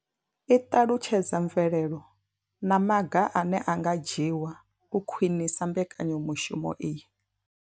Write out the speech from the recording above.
I ṱalutshedza mvelelo na maga ane a nga dzhiwa u khwinisa mbekanyamushumo iyi.